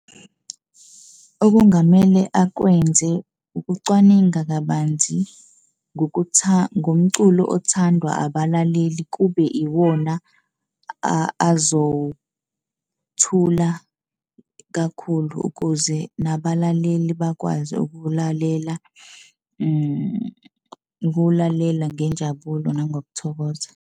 Okungamele akwenze ukucwaninga kabanzi ngomculo othandwa abalaleli kube iwona azowuthula kakhulu ukuze nabalaleli bakwazi ukuwulalela ukuwulalela ngenjabulo nangokuthokoza.